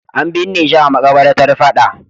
An binne shi a maƙabarta fada.